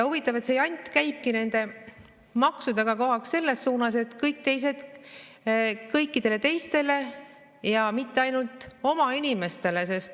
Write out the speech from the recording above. Huvitav, et see jant käibki nende maksudega kogu aeg selles suunas, et kõikidele teistele, ainult mitte oma inimestele.